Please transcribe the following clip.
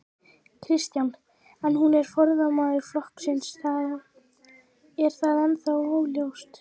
Kristján: En hún er formaður flokksins, er það ennþá óljóst?